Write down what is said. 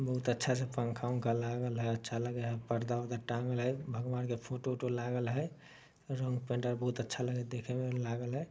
बहुत अच्छा-सा पंखा-उंखा लागल हय। अच्छा लगे है। पर्दा-उरदा टाँगल हय। भगवान के फोटो -उटो लागल हय ।रंग-पेंट आर बहुत अच्छा लगे हय देखे में लागल है ।